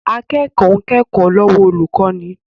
Akẹ́kọ̀ọ́ ń kẹ́kọ̀ọ́ lọ́wọ́ olùkọ́ni